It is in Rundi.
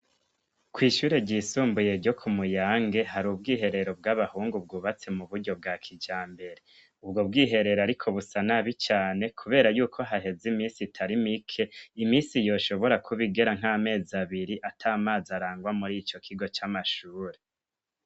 Kw'ishure ryisumbuye ryo ku Muyange hari ubwiherero bw'abahungu bwubatse mu buryo bwa kijambere. Ubwo bwiherero ariko busa nabi cane kubera yuko haheze iminsi itari mike iminsi yoshobora kuba igera nk'amezi abiri ata mazi arangwa muri ico kigo c'amashure.